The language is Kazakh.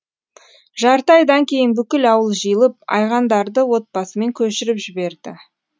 жарты айдан кейін бүкіл ауыл жиылып айғандарды отбасымен көшіріп жіберді